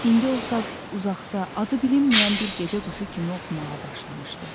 İndi o saz uzaqda, adı bilinməyən bir gecə quşu kimi oxumağa başladı.